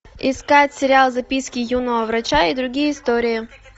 искать сериал записки юного врача и другие истории